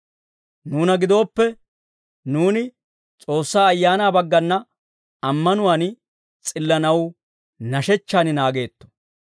Nuuna gidooppe, nuuni S'oossaa Ayaanaa baggana ammanuwaan s'illanaw nashechchaan naageetto.